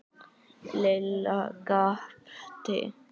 Lilla gapti.